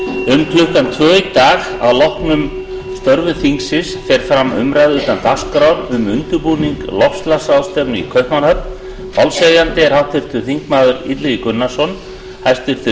um klukkan tvö í dag að loknum störfum þingsins fer fram umræða utan dagskrár um undirbúning loftslagsráðstefnu í kaupmannahöfn málshefjandi er háttvirtur þingmaður illugi gunnarsson hæstvirtur